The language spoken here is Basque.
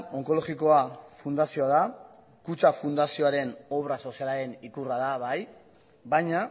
onkologikoa fundazioa da kutxa fundazioaren obra sozialaren ikurra da bai baina